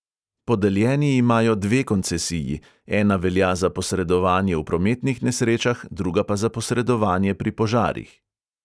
Podeljeni imajo dve koncesiji, ena velja za posredovanje v prometnih nesrečah, druga pa za posredovanje pri požarih.